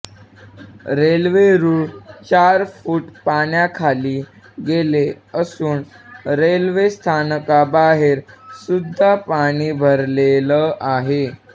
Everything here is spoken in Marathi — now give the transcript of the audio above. रेल्वे रुळ चार फूट पाण्याखाली गेले असून रेल्वे स्थानकाबाहेर सुद्धा पाणी भरलेलं आहे